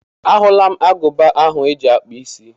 A hụla m agụba ahụ eji akpụ isí.